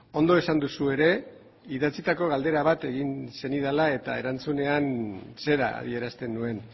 ondo esan duzu ere idatzitako galdera bat egin zenidala eta erantzunean zera adierazten nuen